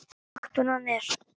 Náttúran er.